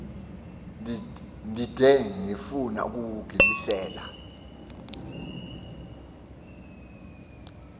ndide ndifun ukuwugibisela